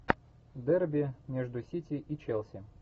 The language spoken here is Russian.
дерби между сити и челси